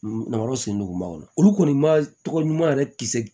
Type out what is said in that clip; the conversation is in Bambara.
Nafolo sigi duguma o la olu kɔni ma tɔgɔ ɲuman yɛrɛ kisi